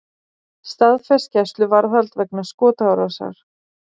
Staðfest gæsluvarðhald vegna skotárásar